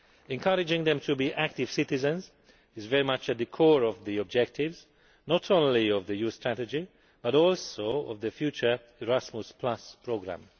Encouraging them to be active citizens is very much at the core of the objectives, not only of the Youth Strategy but also of the future Erasmus Programme.